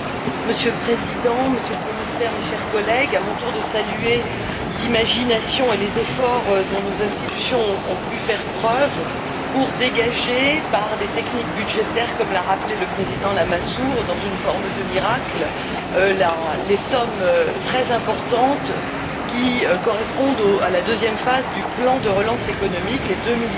Monsieur le Président, Monsieur le Commissaire, chers collègues, à mon tour de saluer l'imagination et les efforts dont nos institutions ont pu faire preuve pour dégager, par des techniques budgétaires, comme l'a rappelé le président Lamassoure, comme par miracle, les sommes très importantes qui correspondent à la deuxième phase du plan de relance économique, les 2